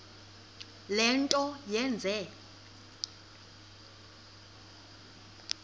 le nto yenze